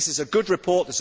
This is a good report.